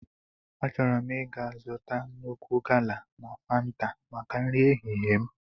Achọrọ m ịga zụta nnukwu gala na fanta maka nri ehihie m.